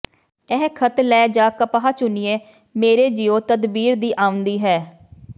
ਇਹ ਖੇਤ ਲੈ ਜਾ ਕਪਾਹ ਚੁਣੀਏ ਮੇਰੇ ਜਿਉ ਤਦਬੀਰ ਵਿੱਚ ਆਂਵਦੀ ਹੈ